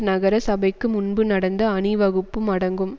நகர சபைக்கு முன்பு நடந்த அணி வகுப்பும் அடங்கும்